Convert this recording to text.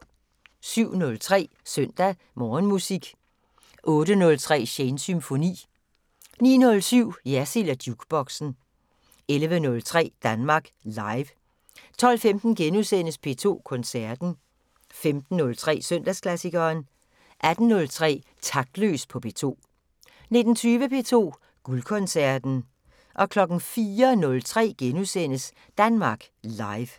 07:03: Søndag Morgenmusik 08:03: Shanes Symfoni 09:07: Jersild & Jukeboxen 11:03: Danmark Live 12:15: P2 Koncerten * 15:03: Søndagsklassikeren 18:03: Taktløs på P2 19:20: P2 Guldkoncerten 04:03: Danmark Live *